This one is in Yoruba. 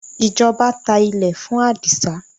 ìjọba tá ilé fún adisa